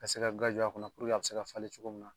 Ka se ka guwa jɔ a kun na puruke a bɛ se ka falen cogo min na.